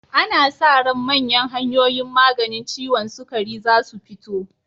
Ana sa ran manyan hanyoyin maganin ciwon sukari zasu fito.